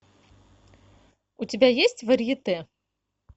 у тебя есть варьете